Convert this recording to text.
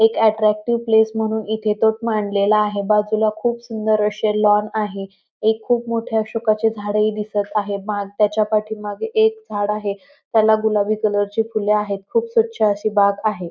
एक attractive place म्हणून इथे तोफ मांडलेला आहे बाजूला खूप सुंदर असे लॉन आहे एक खूप मोठे अशोकाचे झाड ही दिसत आहे त्याच्या पाठीमागे एक झाड आहे त्याला गुलाबी कलर ची फुले आहेत खूप स्वच्छ अशी बाग आहे.